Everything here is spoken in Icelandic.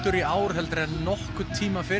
í ár en nokkurn tíma fyrr